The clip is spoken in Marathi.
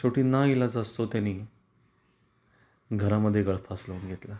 शेवटी नाइलाजास्तोव त्यानी घरा मध्ये गळफास लावून घेतला.